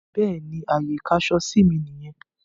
Bẹ́ẹ̀ni, Ààyè ìkáṣọsí mí nìyẹn.